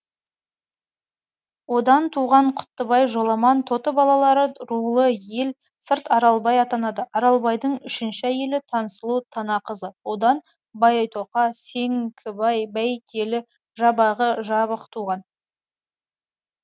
одан туған құттыбай жоламан тоты балалары рулы ел сырт аралбай атанады аралбайдын үшінші әйелі тансұлу танақызы одан байтоқа сеңкібай бәйтелі жабағы жабықтуған